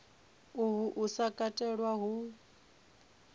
uhu u sa katelwa hu